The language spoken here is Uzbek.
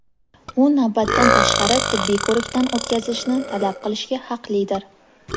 u navbatdan tashqari tibbiy ko‘rikdan o‘tkazishni talab qilishga haqlidir.